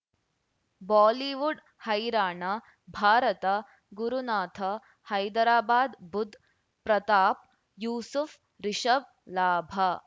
Bollywood ಹೈರಾಣ ಭಾರತ ಗುರುನಾಥ ಹೈದರಾಬಾದ್ ಬುಧ್ ಪ್ರತಾಪ್ ಯೂಸುಫ್ ರಿಷಬ್ ಲಾಭ